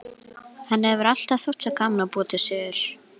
Henni hefur alltaf þótt svo gaman að búa til sögur.